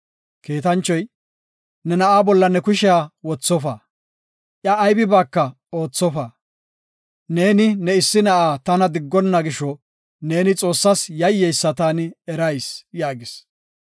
Kiitanchoy, “Na7a bolla ne kushiya wothofa; iya aybibaaka oothofa. Neeni ne issi na7aa tana diggona gisho, neeni Xoossas yayyeysa taani erayis” yaagis.